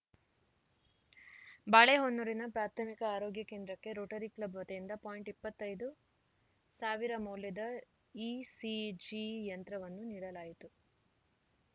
ಬಾಳೆಹೊನ್ನೂರಿನ ಪ್ರಾಥಮಿಕ ಆರೋಗ್ಯ ಕೇಂದ್ರಕ್ಕೆ ರೋಟರಿ ಕ್ಲಬ್‌ ವತಿಯಿಂದ ಪಾಯಿಂಟ್ ಇಪ್ಪತ್ತ್ ಐದು ಸಾವಿರ ಮೌಲ್ಯದ ಇಸಿಜಿ ಯಂತ್ರವನ್ನು ನೀಡಲಾಯಿತು